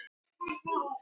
Talaði og talaði.